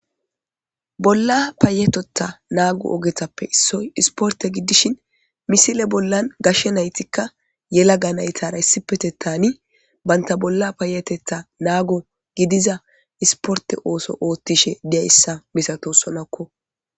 Bolla paayetetta naago ogetappe issoy isporte giddishin misile bollan gashshe naytikka yela ga naytara issipetettani banta bolla paayetetha naago gidiza isporte ooso oothtishe diyayssa misato sonakko.